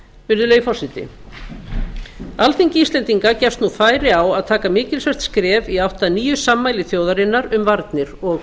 virðulegi forseti alþingi íslendinga gefst nú færi á að taka mikilsvert skref í átt að nýju sammæli þjóðarinnar um varnir og